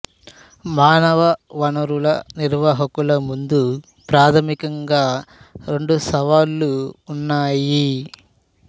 మానవ వనరుల నిర్వాహకుల ముందు ప్రాథమికంగా రెండు సవాళ్ళు ఉన్నాయి